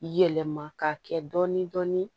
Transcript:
Yɛlɛma ka kɛ dɔɔni dɔɔni